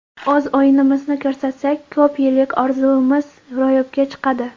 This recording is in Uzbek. O‘z o‘yinimizni ko‘rsatsak, ko‘p yillik orzumiz ro‘yobga chiqadi.